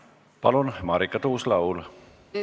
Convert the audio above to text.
Palun, Marika Tuus-Laul!